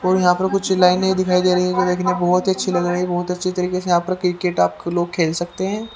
और यहां पर कुछ लाइनें दिखाई दे रही है जो देखने बहुत ही अच्छी लग रही है बहुत अच्छी तरीके से यहां पर क्रिकेट आप लोग खेल सकते हैं।